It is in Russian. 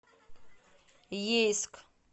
ейск